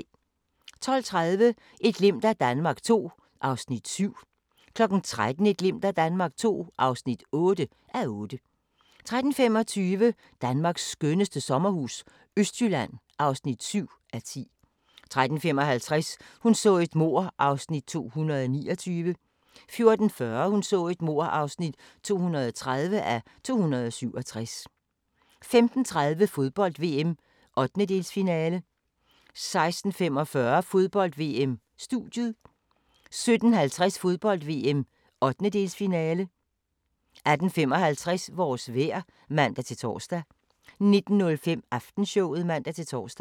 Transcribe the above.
12:30: Et glimt af Danmark II (7:8) 13:00: Et glimt af Danmark II (8:8) 13:25: Danmarks skønneste sommerhus – Østjylland (7:10) 13:55: Hun så et mord (229:267) 14:40: Hun så et mord (230:267) 15:30: Fodbold: VM - 1/8-finale 16:45: Fodbold: VM - Studiet 17:50: Fodbold: VM - 1/8-finale 18:55: Vores vejr (man-tor) 19:05: Aftenshowet (man-tor)